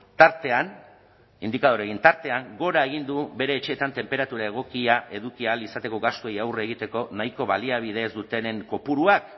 tartean indikadoreen tartean gora egin du bere etxeetan tenperatura egokia eduki ahal izateko gastuei aurre egiteko nahiko baliabide ez dutenen kopuruak